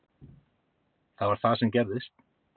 Það var það sem gerðist.